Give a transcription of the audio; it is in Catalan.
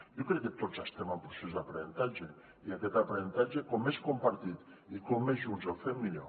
jo crec que tots estem en procés d’aprenentatge i aquest aprenentatge com més compartit i com més junts el fem millor